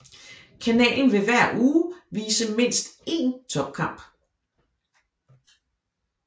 Kanalen vil hver uge vise mindst én topkamp